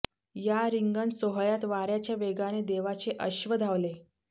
या रिंगण सोहळ्यात वाऱ्याच्या वेगाने देवाचे अश्व धावले